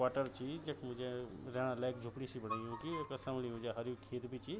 क्वाटर ची जखमा जै रैणा लेक झोपड़ी सी बणी यूंकि वेका समली म जी हर्यु खेत भी ची।